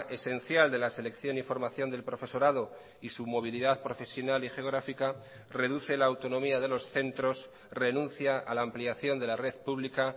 esencial de la selección y formación del profesorado y su movilidad profesional y geográfica reduce la autonomía de los centros renuncia a la ampliación de la red pública